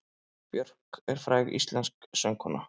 Björk er fræg íslensk söngkona.